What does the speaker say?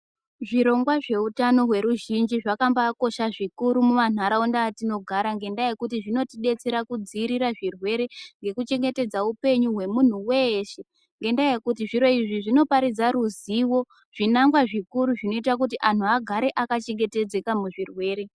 Zvirongwa zveutano weruzhinji zvakambakosha zvikuru mumanharaunda atinogara nenyaya yekuti zvinotidetsera kudzivirira zvirwere nekuti nekuchengetedza upenyu wemuntu weshe yendayekuti zviro izvi zvinoparidza ruzivo zvinangwa zvikuru zvinoita kuti antu agare akachengetedzeka muzvirwere.